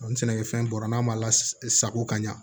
Ni sɛnɛkɛfɛn bɔra n'a ma la sago ka ɲa